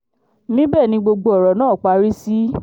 níbẹ̀ ni gbogbo ọ̀rọ̀ náà parí sí